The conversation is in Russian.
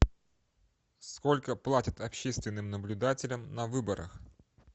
сколько платят общественным наблюдателям на выборах